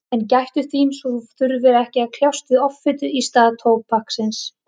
En gættu þín svo að þú þurfir ekki að kljást við offitu í stað tóbaksins.